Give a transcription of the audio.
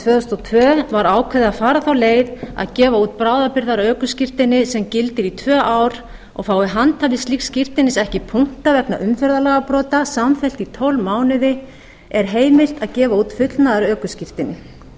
og tvö var ákveðið að fara þá leið að gefa út bráðabirgðaökuskírteini sem gildir í tvö ár og fái handhafi slíks skírteinis ekki punkta vegna umferðarlagabrota samfleytt í tólf mánuði er heimilt að gefa út fullnaðarökuskírteini